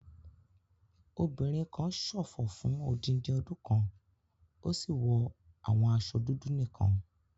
Obìnrin kan ṣòfò fún odindi ọdún kan, ó sì wọ àwọn aṣọ dúdú nìkan.